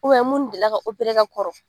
minnu delila ka ka kɔrɔ